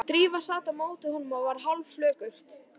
Drífa sat á móti honum og varð hálfflökurt.